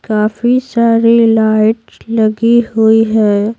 काफी सारी लाइट्स लगी हुई है।